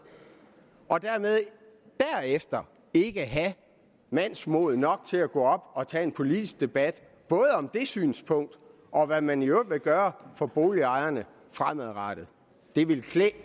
og derefter ikke have mandsmod nok til at gå op og tage en politisk debat både om det synspunkt og om hvad man i øvrigt vil gøre for boligejerne fremadrettet det ville klæde